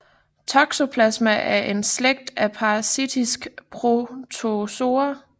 Toxoplasma er en slægt af parasitiske protozoer